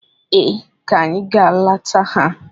Ee, ka anyị gaa leta ha.